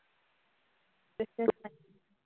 business பண்~